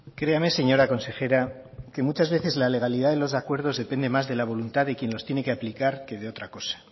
créame señora consejera que muchas veces la legalidad en los acuerdos depende más de la voluntad de quien los tiene que aplicar que de otra cosa